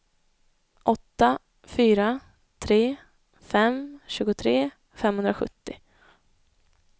åtta fyra tre fem tjugotre femhundrasjuttio